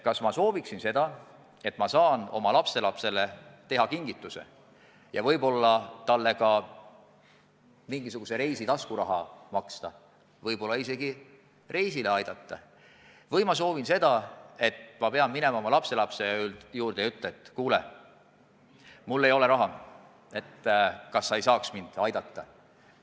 Kas ma sooviksin seda, et ma saan oma lapselapsele teha kingituse ja võib-olla talle mingisuguse reisi jaoks taskuraha anda või isegi reisi kinni maksta, või ma tahaksin minna oma lapselapse juurde ja ütelda, et kuule, mul ei ole raha, kas sa saaksid mind aidata?